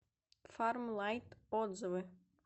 фарм лайт отзывы